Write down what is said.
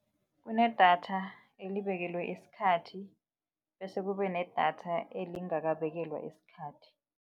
Kunedatha elibekelwe isikhathi bese kube nedatha elingabekelwa isikhathi.